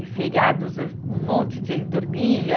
E feriados, âh um monte de gente dormia.